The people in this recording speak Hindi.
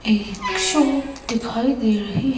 एक शॉप दिखाई दे रहें--